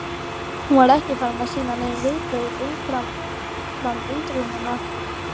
Hún var ekki farin að sýna nein viðbrögð umfram undrunina.